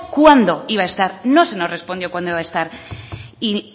cuándo iba a estar no se nos respondió cuándo iba a estar y